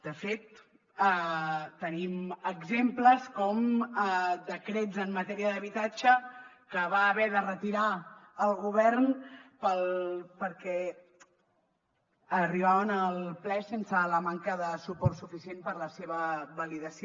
de fet tenim exemples com decrets en matèria d’habitatge que va haver de retirar el govern perquè arribaven al ple sense la manca de suports suficients per a la seva validació